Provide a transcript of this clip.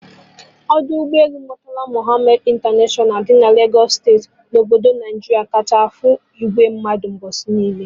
Ọdọ ụgbọ elu Murtala Muhammad International dị na Lagos steeti na obodo Naijiria kacha afụ ìgwè mmadụ mgbọsị niile